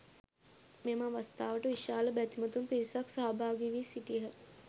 මෙම අවස්ථාවට විශාල බැතිමතුන් පිරිසක් සහභාගී වී සිටියහ.